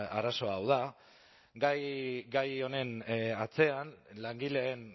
arazoa hau da gai honen atzean langileen